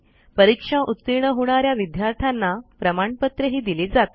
परीक्षा उतीर्ण होणा या विद्यार्थ्यांना प्रमाणपत्रही दिले जाते